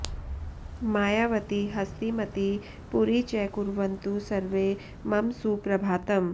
मायावती हस्तिमती पुरी च कुर्वन्तु सर्वे मम सुप्रभातम्